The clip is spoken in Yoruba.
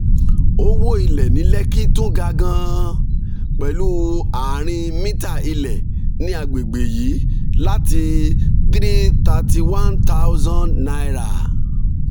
owó ilẹ̀ ní lekki tún ga gan-an pẹ̀lú ààrin mítà ilẹ̀ ní àgbègbè yìí láti three hundred thirty one thousand